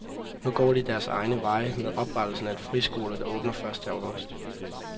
Nu går de deres egne veje med oprettelsen af en friskole, der åbner første august.